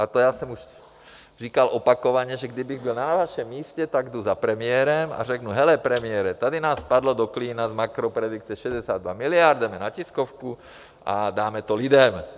A to já jsem už říkal opakovaně, že kdybych byl na vašem místě, tak jdu za premiérem a řeknu: Hele, premiére, tady nám spadlo do klína z makropredikce 62 miliard, jdeme na tiskovku a dáme to lidem.